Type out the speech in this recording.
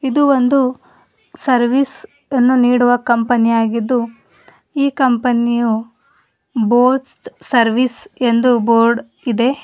ಇದು ಒಂದು ಸರ್ವಿಸ್ ಅನ್ನು ನೀಡುವ ಕಂಪನಿಯಾಗಿದ್ದು ಈ ಕಂಪನಿಯು ಬೋಸ್ ಸರ್ವಿಸ್ ಎಂದು ಬೋರ್ಡ್ ಇದೆ.